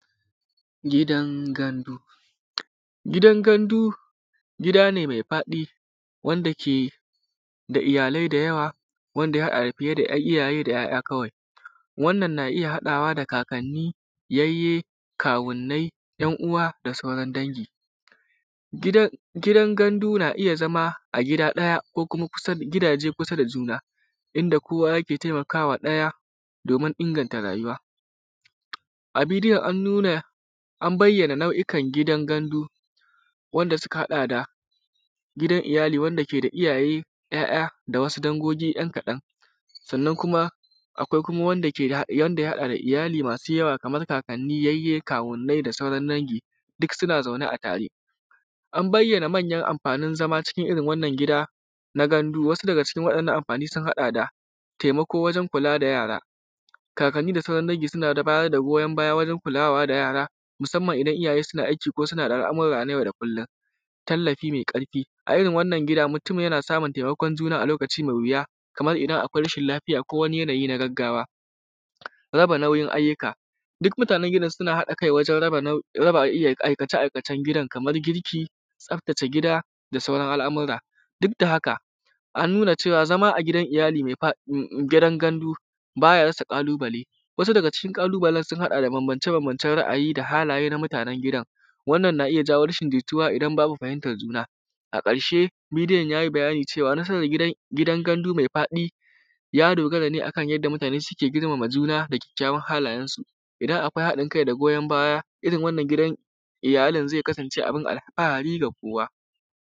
Gidan gandu. Gidan gandu gida ne mai faɗi wanda ke da iyalai da yawa wanda ya haɗa fiye da iyaye da ‘ya’ya kwai, wannan na iya haɗawa da yayyi, kawunnai, ‘yan uwa da sauran dangi. Gidan gandu na iya zama a gida ɗaya ko gidaje kusa da juna inda kowa yake taimakawa ɗaya domin inganta rayuwa, a bidiyon an nuna nau’ukan gidan gandu wanda suka haɗa da gidan iyali wa’eanda ke da iyaye, ‘ya’ya da wasu dangu ‘yankaɗan, sannan kuma akwai wanda ya haɗa da iyali da kaman kakanni da kawunnani da sauran dangi duk suna zaure a tare, an bayyana amfanin zama cikin irin wannan gida na gandu, wasu daga cikin wa’yannan amfani sun haɗa da: taimako wajen kula da yara, kakanni, da sauran dangi suna ba da goyan baya wanje kulawa da yara musanman idan iyaye suna aiki ko wasu al’amura na yau da kullon. Tallafi me ƙarfi irn wannan gida mutun yana samun taimakon juna a lokacin da mai wuya kamar idan akwai rashin lafiya ko wani yanayi na gaggawa, raba nauyin ayyuka duk mutanen gidan suna aikace-aikacen gidan, akan girki, tsaftace gida da sauran al’amura duk da haka an nuna cewa zama a cikin gidan gandu baya rasa ƙalubale. Wasu daga cikin ƙalubalen sun haɗa da bambance-bamabnce ra’ayi da halaye na mutanen gidan, wannan na iya jawu rashin jituwa idan ba a fahimtan juna. A ƙarshe bidiyon ya yi bayani cewa nasaran gidan gandu mai faɗi ya dogara ne akan yanda mutane suke girmama juna da kyakykyawan halayensu, idan akwai haɗin kai da goyan baya cikin wannan gidan iyalin zai kasance ana alfahari da kowa.